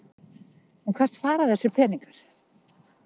En hvert fara þessir peningar?